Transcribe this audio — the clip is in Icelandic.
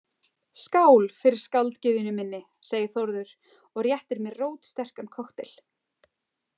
Skál fyrir skáldgyðjunni minni, segir Þórður og réttir mér rótsterkan kokteil.